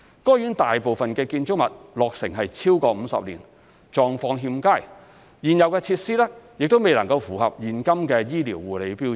該院大部分建築物落成逾50年，狀況欠佳，現有設施未能符合現今的醫療護理標準。